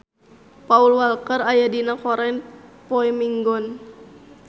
Paul Walker aya dina koran poe Minggon